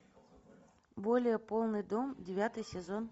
более полный дом девятый сезон